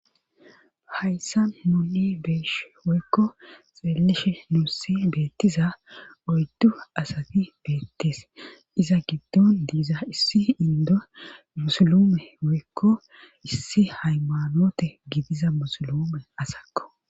hayssa nunni beesh woykko xeelleshe nuussi beettiza oyddu asati beettees iza giddon diiza issi indo musulume woykko issi haymanote gidiza musulume asakko